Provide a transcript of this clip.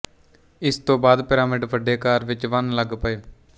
ਉਸ ਤੋਂ ਬਾਦ ਪਿਰਾਮਿਡ ਵੱਡੇ ਆਕਾਰ ਵਿੱਚ ਬਣਨ ਲੱਗ ਪਏ